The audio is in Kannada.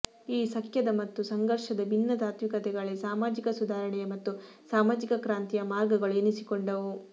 ಈ ಸಖ್ಯದ ಮತ್ತು ಸಂಘರ್ಷದ ಭಿನ್ನ ತಾತ್ವಿಕತೆಗಳೇ ಸಾಮಾಜಿಕ ಸುಧಾರಣೆಯ ಮತ್ತು ಸಾಮಾಜಿಕ ಕ್ರಾಂತಿಯ ಮಾರ್ಗಗಳು ಎನಿಸಿಕೊಂಡವು